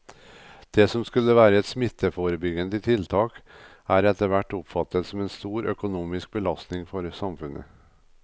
Det som skulle være et smitteforebyggende tiltak er etterhvert oppfattet som en stor økonomisk belastning for samfunnet.